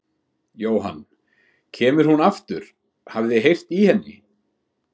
Jóhann: Kemur hún aftur, hafið þið heyrt í henni?